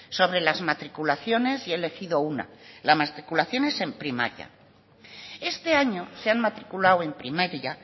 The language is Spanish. sobre las matriculaciones y he elegido una las matriculaciones en primaria este año se han matriculado en primaria